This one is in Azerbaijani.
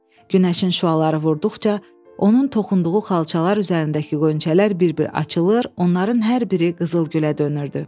Günəşin şüaları vurduqca, onun toxunduğu xalçalar üzərindəki qonçələr bir-bir açılır, onların hər biri qızıl gülə dönürdü.